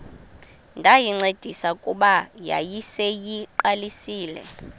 ndayincedisa kuba yayiseyiqalisile